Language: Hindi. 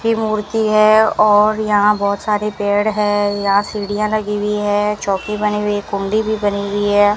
की मूर्ति है और यहां बहुत सारे पेड़ है यहां सीढ़ियां लगी हुई है चौकी बनी हुई है कुंडी भी बनी हुई है।